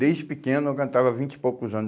Desde pequeno eu cantava há vinte e poucos anos.